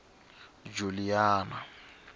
juliana